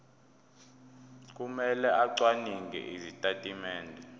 kumele acwaninge izitatimende